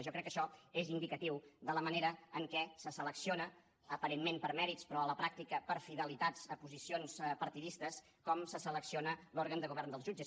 jo crec que això és indicatiu de la manera en què se selecciona aparentment per mèrits però a la pràctica per fidelitats a posicions partidistes com se selecciona l’òrgan de govern dels jutges